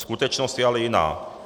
Skutečnost je ale jiná.